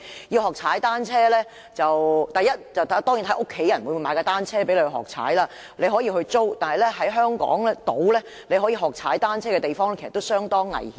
要學踏單車，當然首先要視乎家人會否購買單車讓你學習，也可以租用單車，但在香港島可讓人學習踏單車的地方，其實也相當危險。